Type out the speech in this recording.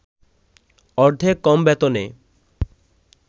অর্ধেক কম বেতনে